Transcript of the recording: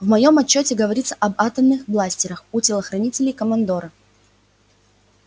в моем отчёте говорится об атомных бластерах у телохранителей командора